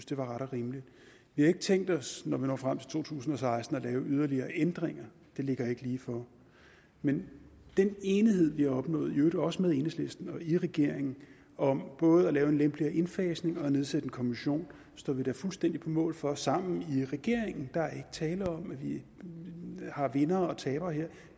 det var ret og rimeligt vi har ikke tænkt os når vi når frem til to tusind og seksten at lave yderligere ændringer det ligger ikke lige for men den enighed vi har opnået i øvrigt også med enhedslisten og i regeringen om både at lave en lidt lempeligere indfasning og om at nedsætte en kommission står vi da fuldstændig på mål for sammen i regeringen der er ikke tale om at vi har vindere og tabere her